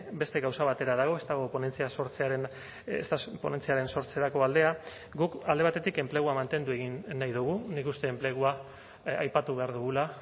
beste gauza batera dago ez dago ponentzia sortzearen ez da ponentziaren sortzerako aldea guk alde batetik enplegua mantendu egin nahi dugu nik uste enplegua aipatu behar dugula